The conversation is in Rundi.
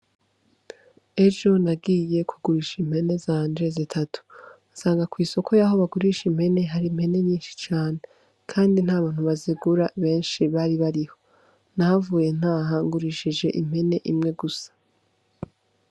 Ejo nagiye kugurisha impene zanje zitatu nsanga kw'isoko yaho bagurisha impene hari impene nyinshi cane, kandi nta bantu bazigura benshi bari bariho nahavuye ntaha ngurishije impene imwe gusa.